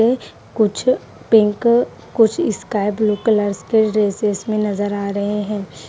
अ कुछ पिंक कुछ sky blue colours के ड्रेसेस में नजर आ रहे हैं।